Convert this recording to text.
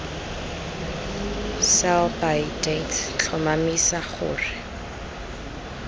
sell by date tlhomamisa gore